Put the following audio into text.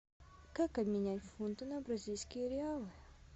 как обменять фунты на бразильские реалы